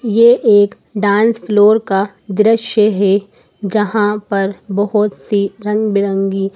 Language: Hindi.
ये एक डांस फ्लोर का दृश्य है जहां पर बहोत सी रंग बिरंगी--